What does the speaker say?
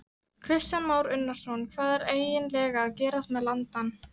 Kristján Már Unnarsson: Hvað er eiginlega að gerast með landann?